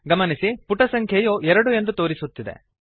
ಗಮನಿಸಿ ಪುಟ ಸಂಖ್ಯೆಯು 2 ಎಂದು ತೋರಿಸುತ್ತಿದೆ